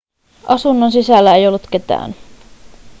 asunnon sisällä ei ollut ketään